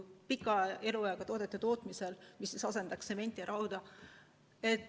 Pika elueaga puittoodete tootmine võiks asendada tsementi ja rauda.